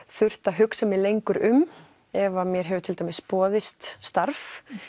þurft að hugsa mig lengur um ef mér hefur til dæmis boðist starf